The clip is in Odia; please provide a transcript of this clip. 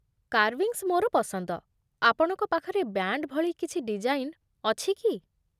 କାର୍ଭିଙ୍ଗ୍ସ୍ ମୋର ପସନ୍ଦ । ଆପଣଙ୍କ ପାଖରେ ବ୍ୟାଣ୍ଡ୍ ଭଳି କିଛି ଡିଜାଇନ୍ ଅଛି କି?